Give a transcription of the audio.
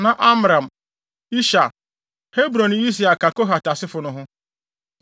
Na Amram, Ishar, Hebron ne Usiel ka Kohat asefo no ho.